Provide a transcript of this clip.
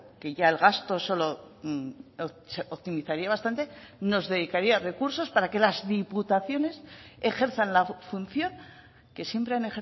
que ya el gasto solo optimizaría bastante nos dedicaría recursos para que las diputaciones ejerzan la función que siempre han